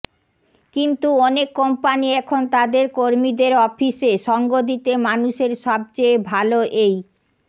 কিন্তু অনেক কোম্পানি এখন তাদের কর্মীদের অফিসে সঙ্গ দিতে মানুষের সবচেয়ে ভালো এই